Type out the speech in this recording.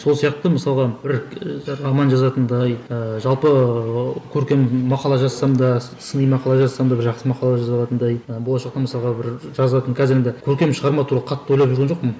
сол сияқты мысалғы бір роман жазатындай ыыы жалпы ыыы көркем мақала жазсам да сыни мақала жазсам да бір жақсы мақала жаза алатындай ы болашақта мысалға бір жазатын қазір енді көркем шығарма туралы қатты ойлап жүрген жоқпын